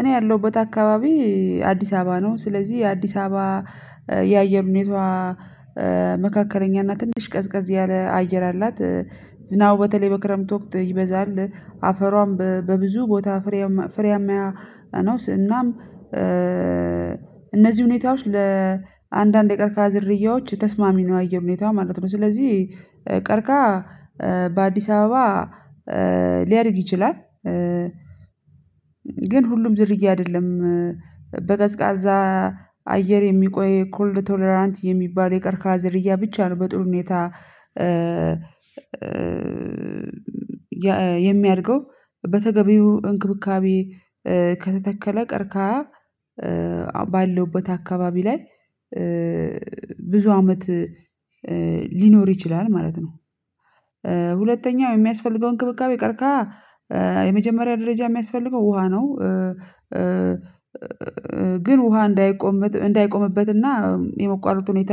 እኔ ያለሁበት አካባቢ አዲስ አበባ ነው። ስለዚህ አዲስ አበባ የአየር ሁኖታዋ ትንሽ ቀዝቀዝ ያለ አየር አላት። ዝናቡ በተለይ በክረምት ወቅት ይበዛል አፈሯም በብዙ ቦታ ፍሬም ፍሬያም ነው። እናም እነዚህ ሁኔታዎች ለአንዳንድ የቀርቅሃ ዝርያዎች ተስማሚ ነው የአየር ሁኔታዋ ማለት ነው። ስለዚህ ቀርቅሃ በአዲስ አበባ ሊያድግ ይችላል። ግን ሁሉም ዝርያ አይደለም በቀዝቃዛ አየር የሚቆይ ኮልድ ቶለራንት የሚባል የቀርቅሃ ዝርያ ብቻ ነው በጥሩ ሁኔታ። የሚያድገው በተገቢው እንክብካቤ ከተተከለ ቀርቅሃ ባለሁበት አካባቢ ላይ ብዙ አመት ሊኖር ይችላል ማለት ነው። የሚያስፈልገውን እንክብካቤ ቀርቅሃ የመጀመሪያ ደረጃ የሚያስፈልገው ውሃ ነው። ግን ውሃ እንዳይቆም እንዳይቆምበትና የመቋረጥ ሁኔታ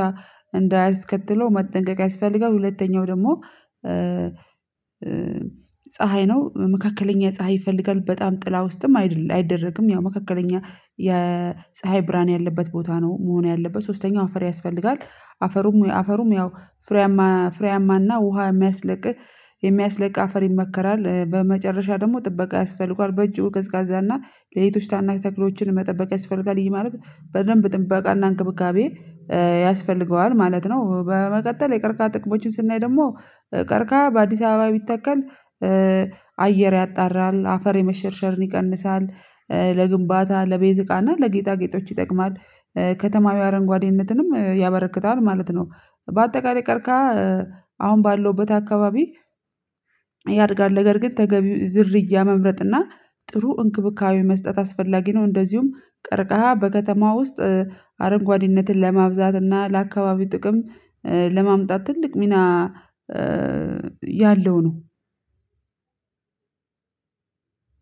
እንዳያስከትለው መጠንቀቅ ያስፈልጋል። ሁለተኛው ደግሞ ፀሀይ ነው። መካከለኛ ፀሀይ ይፈልጋል በጣም ጥላ ውስጥም አይደለም አይደረግም ያው መካከለኛ የፀሀይ ብርሃን ያለበት ቦታ ነው። መሆን ያለበት ሶስተኛው አፈር ያስፈልጋል። አፈሩም አፈሩም ያው ፍሬያማ ፍሬያማና ውሃ የሚያስለቅቅ የሚያስለቅ አፈር ይመከራል። በመጨረሻ ደግሞ ጥበቃ ያስፈልገዋል ረጅም ቀዝቃዛና ሌሎችን ታናናሽ ተክሎችን መጠበቅ ያስፈልጋል ይሄ ማለት በደንብ ጥበቃና እንክብካቤ ያስፈልገዋል ማለት ነው። በመቀጠል የቀርቅሃ ጥቅሞችን ስናይ ደግሞ ቀርቅሃ በአዲስ አበባ ቢተከል አየር ያጣራል አፈር የመሸርሸርን ይቀንሳል። ለግንባታ ለቤት እቃና ለጌጣጌጦች ይጠቅማል። ከተማዋ አረንጓዴነትንም ያበረክታል ማለት ነው። በአጠቃላይ ቀርቅሃ አሁን ባለሁበት አካባቢ ያድጋል ነገር ግን ተገቢ ዝርያ መምረጥ እና ጥሩ እንክብካቤ መስጠት አስፈላጊ ነው። እንደዚሁም ቀርቅሃ በከተማው ውስጥ አረንጓዴነትን ለማብዛት እና ለአካባቢው ጥቅም ለማምጣት ትልቅ ሚና ያለው ነው።